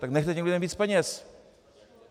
Tak nechte těm lidem víc peněz.